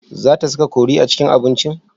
Za ta saka kori a cikin abincin?